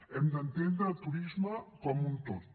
hem d’entendre el turisme com un tot